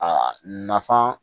Aa nafan